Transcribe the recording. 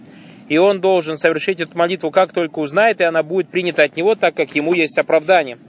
и он должен совершить эту молитву как только узнает и она будет принято от него так как ему есть оправдание